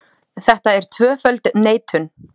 Þetta er tvöföld neitun.